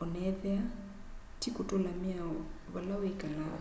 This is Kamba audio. o na ethiwa ti kutula miao vala wikalaa